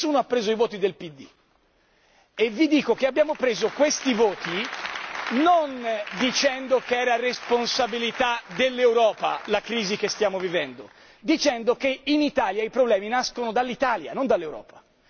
Nessuno ha preso i voti del PD e vi dico che abbiamo preso questi voti non addossando all'Europa la responsabilità della crisi che stiamo vivendo bensì riconoscendo che in Italia i problemi nascono dall'Italia non dall'Europa.